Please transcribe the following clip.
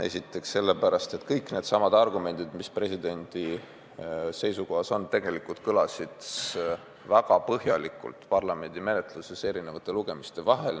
Esiteks selle pärast, et kõik needsamad argumendid, mis presidendi seisukohas on, tegelikult kõlasid väga põhjalikult parlamendi menetluses eri lugemiste vahel.